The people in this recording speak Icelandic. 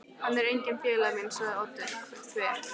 Hann er enginn félagi minn sagði Oddur þver